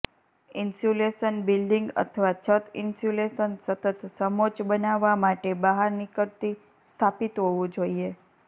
insulation building અથવા છત insulation સતત સમોચ્ચ બનાવવા માટે બહાર નીકળતી સ્થાપિત હોવું જ જોઈએ